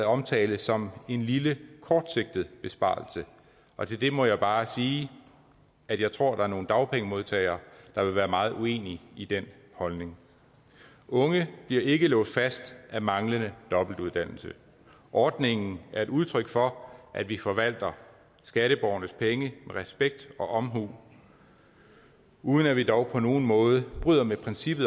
omtales som en lille kortsigtet besparelse og til det må jeg bare sige at jeg tror der er nogle dagpengemodtagere der vil være meget uenige i den holdning unge bliver ikke låst fast af manglende dobbeltuddannelse ordningen er et udtryk for at vi forvalter skatteborgernes penge med respekt og omhu uden at vi dog på nogen måde bryder med princippet